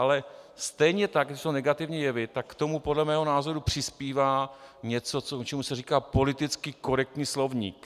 Ale stejně tak to jsou negativní jevy, tak k tomu podle mého názoru přispívá něco, čemu se říká politicky korektní slovník.